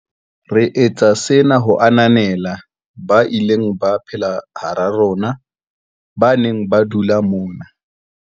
Re etsa sena ho ananela ba ileng ba phela hara rona, ba neng ba dula mona.